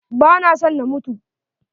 Ba na son na mutu.